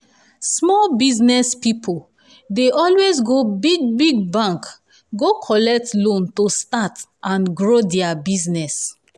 small business pipo dey always go big-big bank go collect loan to start and grow dia business.